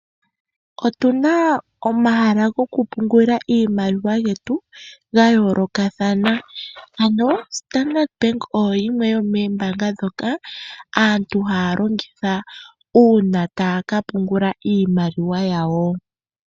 Otuna omahala go kupungula iimaliwa yetu ga yoolokathana ano ombaanga ya Standard oyo yimwe yomoombanga ndjoka aantu haya longitha uuna taya ka pungula iimaliwa yawo.